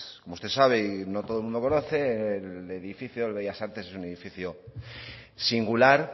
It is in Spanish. como usted sabe y no todo el mundo conoce el edificio del bellas artes es un edificio singular